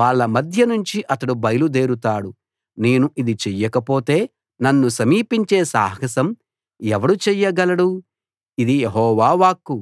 వాళ్ళ మధ్య నుంచి అతడు బయలుదేరుతాడు నేను ఇది చెయ్యకపోతే నన్ను సమీపించే సాహసం ఎవడు చెయ్యగలడు ఇది యెహోవా వాక్కు